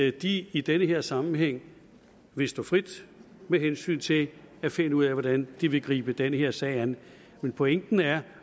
at de i den her sammenhæng vil stå frit med hensyn til at finde ud af hvordan de vil gribe den her sag an men pointen er